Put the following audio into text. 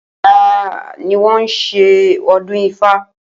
Ò̩la ni wo̩n yóò s̩e o̩dún Ifá